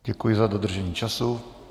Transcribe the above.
Děkuji za dodržení času.